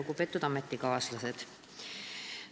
Lugupeetud ametikaaslased!